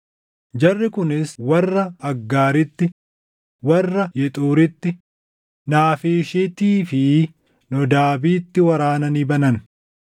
Jarri kunis warra Aggaariitti, warra Yexuuritti, Naafiishiittii fi Noodaabiitti waraana ni banan.